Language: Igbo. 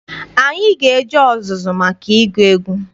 Anyị ga-eje ọzụzụ maka ịgụ egwu.